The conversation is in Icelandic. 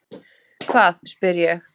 Hvað? spyr ég.